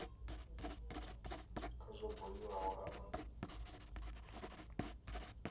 kha zwo buliwaho afho nha